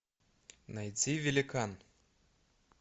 найти великан